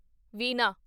ਵੀਨਾ